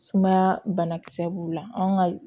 Sumaya banakisɛ b'u la anw ka